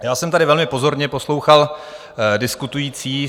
Já jsem tady velmi pozorně poslouchal diskutující.